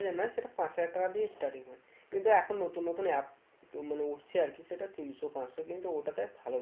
না সেটা পাঁচ হাজার দিয়ে starting হয়ে কিন্তু এখন নতুন নতুন app মানে উঠছে আর কি সেটা তিনশো পাঁচশো কিন্তু ওটাতে